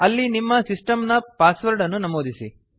ಅಲ್ಲಿ ನಿಮ್ಮ ಸಿಸ್ಟಮ್ ನ ಪಾಸ್ವರ್ಡ್ ಅನ್ನು ನಮೂದಿಸಿ